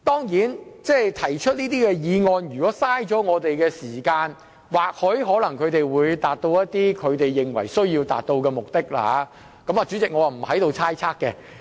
如果提出這些議案能浪費我們的時間，或許可達致他們認為需要達致的目的，我對此不作猜測。